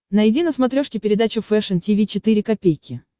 найди на смотрешке передачу фэшн ти ви четыре ка